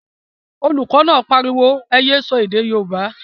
Olùkọ́ náà pariwo, ẹ yé sọ èdè yóòbá!